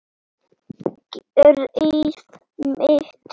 Greyið mitt